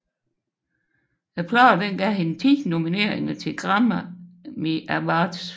Pladen gav hende ti nomineringer til Grammy Awards